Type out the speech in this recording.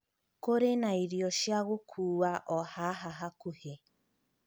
Kũrĩ na irio cia gũkuua o haha hakuhĩ.